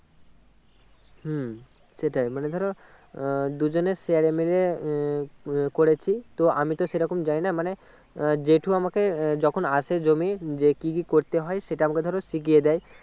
হম সেটাই মানে ধরো আহ দুজনে share এ মিলে আহ করেছি আমি তো সেইরকম জানিনা মানে আহ জেঠু আমাকে আহ যখন আসে জমি যে কি কি করেতে হয় সেটা আমাকে ধরো শিখিয়ে দেয়